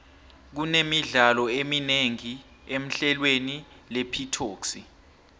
kune midlalo eminengi emhlelweni lepitoxi